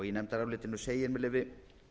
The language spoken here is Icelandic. í nefndarálitinu segir með leyfi